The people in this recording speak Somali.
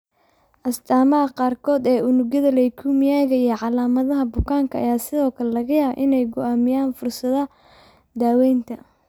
Astaamaha qaarkood ee unugyada leukemia-ga iyo calaamadaha bukaanka ayaa sidoo kale laga yaabaa inay go'aamiyaan fursadaha daawaynta.